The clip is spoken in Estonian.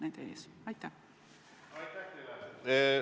Aitäh teile!